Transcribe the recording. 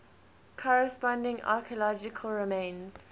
corresponding archaeology remains